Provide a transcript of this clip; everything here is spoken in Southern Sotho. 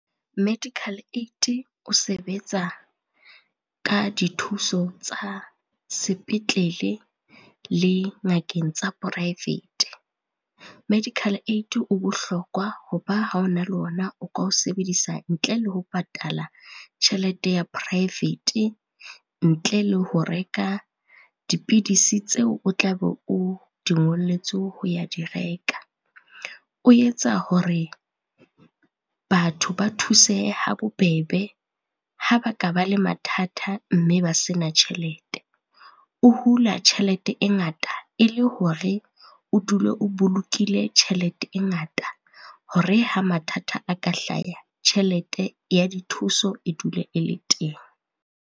Medical Aid o sebetsa ka dithuso tsa sepetlele le ngakeng tsa poraefete. Medical Aid o bohlokwa ho ba ha o na le ona o ka o sebedisa ntle le ho patala tjhelete ya poraefete, ntle le ho reka dipidisi tseo o tla be o di ngolletswe ho ya di reka. O etsa hore batho ba thusehe ha bobebe, ha ba ka ba le mathata mme ba sena tjhelete. O hula tjhelete e ngata, e le hore o dule o bolokile tjhelete e ngata hore ha mathata a ka hlaya, tjhelete ya dithuso e dule e le teng.